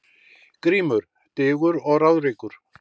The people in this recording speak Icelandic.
GRÍMUR: Digur og ráðríkur